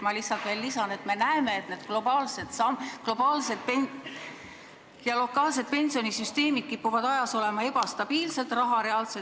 Lihtsalt veel lisan, et me näeme, et globaalsed ja lokaalsed pensionisüsteemid kipuvad ajas ebastabiilsed olevat, raha reaalse väärtuse ...